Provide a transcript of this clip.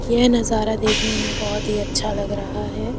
यह नजारा देखने में बहुत ही अच्छा लग रहा है।